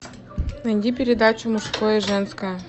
найди передачу мужское и женское